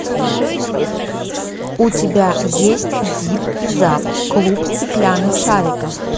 у тебя есть зип и зап клуб стеклянных шариков